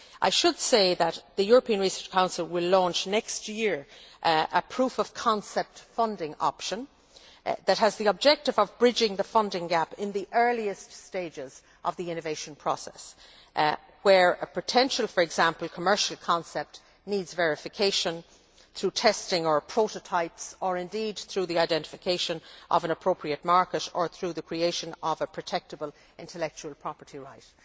I should say that the European Research Council will launch next year a proof of concept funding option that has the objective of bridging the funding gap in the earliest stages of the innovation process, where, for example, a potential commercial concept needs verification through testing or prototypes, or indeed through the identification of an appropriate market, or through the creation of a protectable intellectual property right.